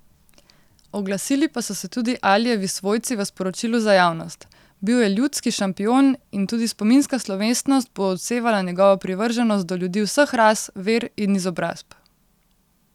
Oglasili pa so se tudi Alijevi svojci v sporočilu za javnost: 'Bil je ljudski šampion in tudi spominska slovesnost bo odsevala njegovo privrženost do ljudi vseh ras, ver in izobrazb.